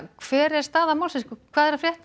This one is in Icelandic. hver er staðan hvað er að frétta